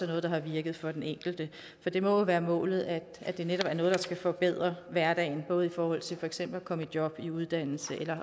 noget der har virket for den enkelte for det må jo være målet at det netop er noget der skal forbedre hverdagen både i forhold til for eksempel at komme i job i uddannelse eller